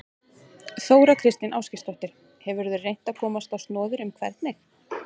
Þóra Kristín Ásgeirsdóttir: Hefurðu reynt að komast á snoðir um hvernig?